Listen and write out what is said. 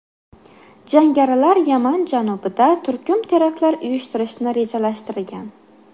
Jangarilar Yaman janubida turkum teraktlar uyushtirishni rejalashtirgan.